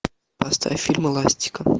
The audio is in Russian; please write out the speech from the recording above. поставь фильм эластико